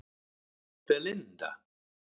Belinda